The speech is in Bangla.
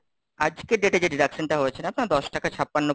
আজকের date এ যে deduction হয়েছে না আপনারা, দশ টাকা ছাপ্পান্ন,